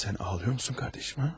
Sen ağlıyor musun kardeşim, ha?